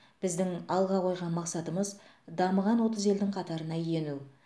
біздің алға қойған мақсатымыз дамыған отыз елдің қатарына ену